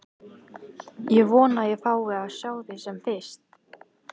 Ég vona að ég fái að sjá þig sem fyrst.